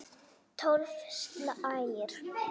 Tólf slagir!